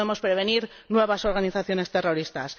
Sí podemos prevenir nuevas organizaciones terroristas.